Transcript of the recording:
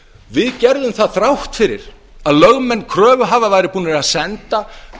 við gerðum það þrátt fyrir að lögmenn kröfuhafa væru búnir að senda